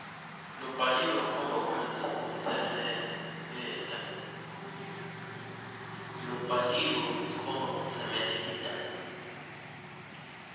lobhaliwe ukhomba kutsemeleta